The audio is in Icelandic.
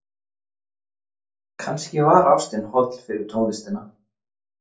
Kannski var ástin holl fyrir tónlistina.